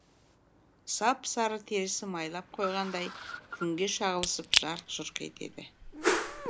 сап сары терісі майлап қойғандай күнге шағылысып жарқ жұрқ етеді